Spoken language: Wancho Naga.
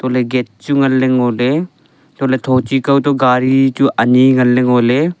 kohle gate chu ngan le ngo ley antohle thochi kao to gari chu ani ngan le ngo ley.